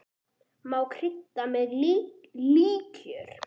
Má krydda með líkjör.